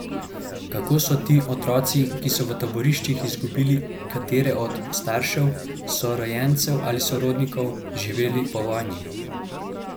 Kako so ti otroci, ki so v taboriščih izgubili katerega od staršev, sorojencev ali sorodnikov, živeli po vojni?